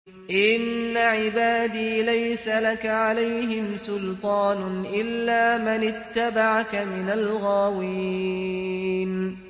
إِنَّ عِبَادِي لَيْسَ لَكَ عَلَيْهِمْ سُلْطَانٌ إِلَّا مَنِ اتَّبَعَكَ مِنَ الْغَاوِينَ